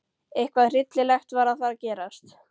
Eitthvað hryllilegt var að fara að gerast.